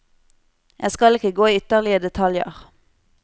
Jeg skal ikke gå i ytterligere detaljer.